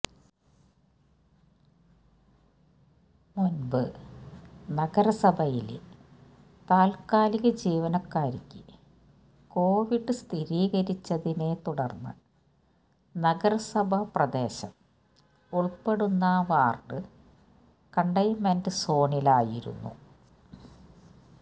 മുൻപ് നഗരസഭയിലെ താത്കാലിക ജീവനക്കാരിക്ക് കോവിഡ് സ്ഥിരീകരിച്ചതിനെ തുടർന്ന് നഗരസഭ പ്രദേശം ഉൾപ്പെടുന്ന വാർഡ് കണ്ടെയ്ൻമെന്റ് സോണിലായിരുന്നു